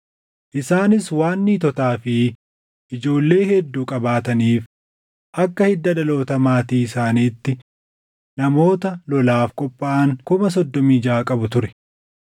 Isaanis waan niitotaa fi ijoollee hedduu qabaataniif akka hidda dhaloota maatii isaaniitti namoota lolaaf qophaaʼan 36,000 qabu ture.